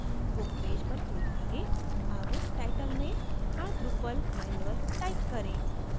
book page पर click करें अब title में our drupal manual type करें